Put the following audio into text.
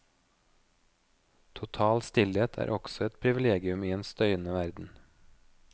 Total stillhet er også et privilegium i en støyende verden.